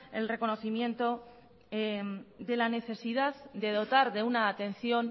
el reconocimiento de la necesidad de dotar de una atención